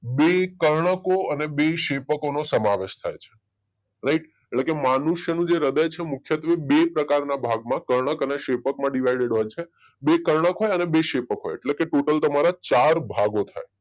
બે કર્ણકો અને બે શેપકો નો સમાવેશ થાય છે રાઈટ એટલે માનુષ્યનું જે હૃદય છે મુખ્યત્વે પ્રકારના ભાગમાં કર્ણક અને શેપકમાં ડીવાઈડેડ હોય છે બે કર્નક હોય ને બે શેપક હોય એટલે ટોટલ તમારા ચાર ભાગો થાય